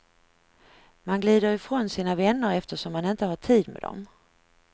Man glider ifrån sina vänner eftersom man inte har tid med dem.